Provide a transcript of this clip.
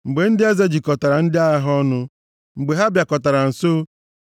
Mgbe ndị eze jikọtara ndị agha ha ọnụ, mgbe ha bịakọtara nso,